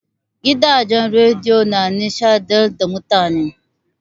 Gidajen rediyo na nishaɗantar da mutane.